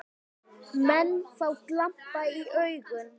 Menn fá glampa í augun.